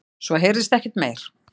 Svo heyrðist ekkert meir.